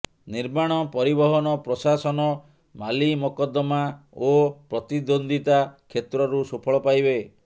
ନିର୍ମାଣ ପରିବହନ ପ୍ରଶାସନ ମାଲିମକଦ୍ଦମା ଓ ପ୍ରତିଦ୍ୱନ୍ଦ୍ୱିତା କ୍ଷେତ୍ରରୁ ସୁଫଳ ପାଇବେ